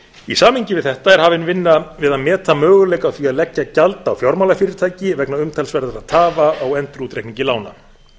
í samhengi við þetta er hafin vinna við að meta möguleika á því að leggja gjald á fjármálafyrirtæki vegna umtalsverðra tafa á endurútreikningi lána